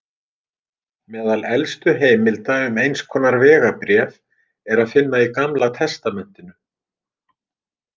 Meðal elstu heimilda um eins konar vegabréf er að finna í Gamla testamentinu.